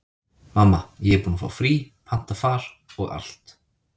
Mamma, ég er búin að fá frí, panta far og allt.